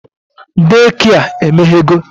Daycare emeghego